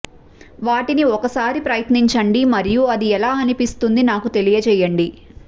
వాటిని ఒకసారి ప్రయత్నించండి మరియు అది ఎలా అనిపిస్తుంది నాకు తెలియజేయండి